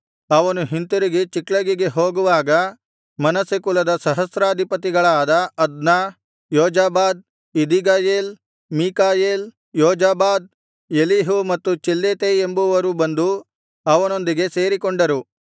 ಅವನು ಹಿಂತಿರುಗಿ ಚಿಕ್ಲಗಿಗೆ ಹೋಗುವಾಗ ಮನಸ್ಸೆ ಕುಲದ ಸಹಸ್ರಾಧಿಪತಿಗಳಾದ ಅದ್ನ ಯೋಜಾಬಾದ್ ಎದೀಗಯೇಲ್ ಮೀಕಾಯೇಲ್ ಯೋಜಾಬಾದ್ ಎಲೀಹು ಮತ್ತು ಚಿಲ್ಲೆತೈ ಎಂಬುವರು ಬಂದು ಅವನೊಂದಿಗೆ ಸೇರಿಕೊಂಡರು